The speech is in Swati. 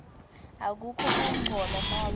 akukho kungcola nobe